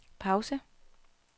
pause